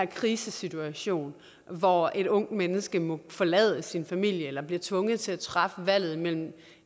krisesituation og hvor et ungt menneske må forlade sin familie eller bliver tvunget til at træffe valget imellem